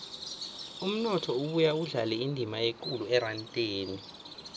umnotho ubuya udlale indima ekulu erandeni